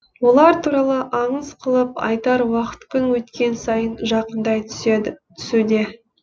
олар туралы аңыз қылып айтар уақыт күн өткен сайын жақындай түсуде